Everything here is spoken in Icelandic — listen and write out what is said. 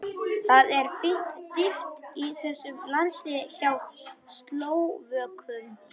Það er fín dýpt í þessum landsliði hjá Slóvökum.